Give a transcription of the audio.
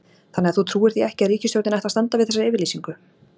Þannig að þú trúir því ekki að ríkisstjórnin ætli að standa við þessa yfirlýsingu?